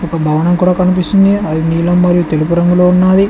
ఒక భవనం కూడా కనిపిస్తుంది అది నీలం మరి తెలుపు రంగులో ఉన్నది.